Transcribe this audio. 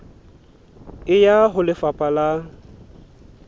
e ya ho lefapha la